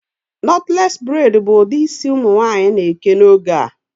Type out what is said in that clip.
Knotless braid bụ ụdị isi ụmụ nwaanyị na-eke n'oge a